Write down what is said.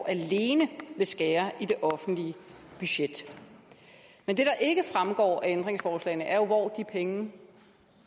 alene vil skære i det offentlige budget men det der ikke fremgår af ændringsforslagene er jo hvor de penge